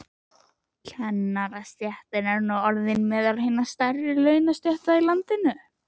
Kennarastéttin er nú orðin meðal hinna stærri launastétta í landinu.